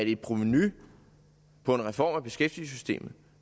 et provenu på en reform af beskæftigelsessystemet